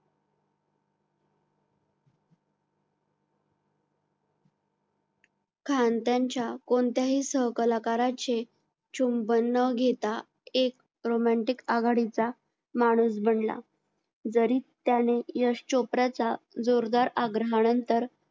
खान कोणत्याही सहकालाकारांचे चुंबन न घेता एक romantic आघाडीचा माणूस बनला जरी त्याने यश चोप्राचा जोरदार आग्रहानंतर